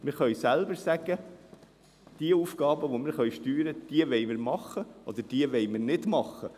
Wir können selber sagen, dass wir jene Aufgaben, die wir steuern können, übernehmen, während wir es bei einer anderen nicht wollen.